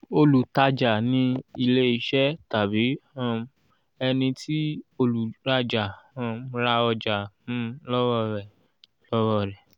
olùtájà ni ilẹ́ ìṣe tàbí um ẹni tí olùrájà um ra ọjà um lọ́wọ́ rẹ̀. lọ́wọ́ rẹ̀.